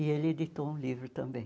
E ele editou um livro também.